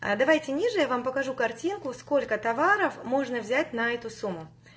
а давайте ниже я вам покажу картинку сколько товаров можно взять на эту сумму